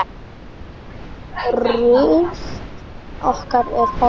Ruth okkar er horfin.